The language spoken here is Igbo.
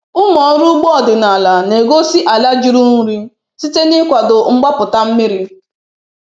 Ụmụ ọrụ ugbo ọdịnala na-egosi ala juru nri site n’ịkwado mgbapụta mmiri